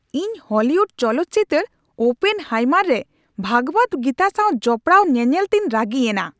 ᱤᱧ ᱦᱚᱞᱤᱣᱩᱰ ᱪᱚᱞᱚᱛ ᱪᱤᱛᱟᱹᱨ "ᱳᱯᱮᱱᱦᱟᱭᱢᱟᱨ" ᱨᱮ ᱵᱷᱟᱜᱽᱵᱟᱫ ᱜᱤᱛᱟ ᱥᱟᱣ ᱡᱚᱯᱲᱟᱣ ᱧᱮᱱᱮᱞ ᱛᱮᱧ ᱨᱟᱹᱜᱤᱭᱮᱱᱟ ᱾